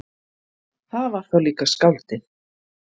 Það var þá líka skáldið!